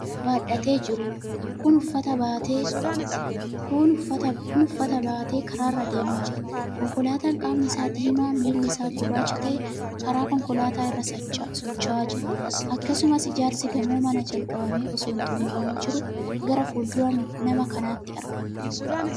Nama uffata hedduu harka isaarratti baadhatee jiruudha. namni Kun uffata baatee karaarra adeemaa jira. konkolaataan qaamni Isaa diimaa, miilli isaagurraacha ta'e karaa konkolaataa irra sacha'aa jira. akkasimas ijaarsi gamoo manaa jalqabame osoo hin xumuramin jiru Gaara fuulduraa nama kanaatti argama.